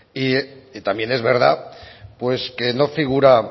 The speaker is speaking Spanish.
y también es verdad pues que no figura